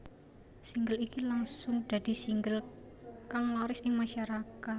Single iki langsung dadi single kang laris ing masyarakat